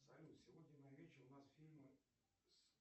салют сегодня на вечер у нас фильмы с